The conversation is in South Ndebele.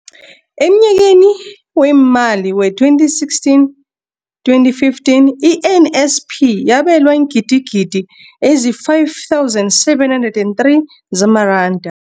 Emnyakeni weemali we-2015, 2016, i-NSNP yabelwa iingidigidi ezi-5 703 zamaranda.